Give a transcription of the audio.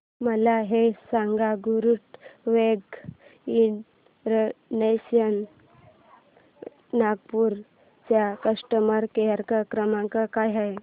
मला हे सांग गरुडवेग इंटरनॅशनल नागपूर चा कस्टमर केअर क्रमांक काय आहे